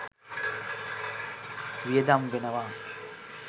වියදම් වෙනවා